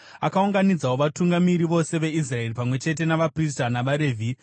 Akaunganidzawo vatungamiri vose veIsraeri pamwe chete navaprista navaRevhi.